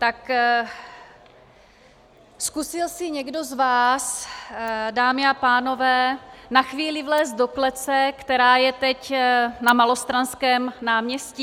Tak zkusil si někdo z vás, dámy a pánové, na chvíli vlézt do klece, která je teď na Malostranském náměstí?